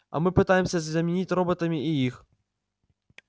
а мы пытаемся заменить роботами и их